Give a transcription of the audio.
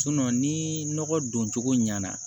ni nɔgɔ don cogo ɲɛna